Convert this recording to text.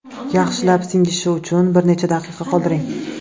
Yaxshilab singishi uchun bir necha daqiqa qoldiring.